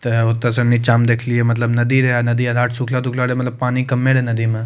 ते ओता से नीचा मे देखलिए मतलब नदी रहे नदी के घाट सुखला तूखला रहे मतलब पानी कम्में रहे नदी में।